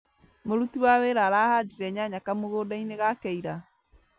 Mũruti wa wĩra arahandire nyanya kamũgũnda-inĩ gake ira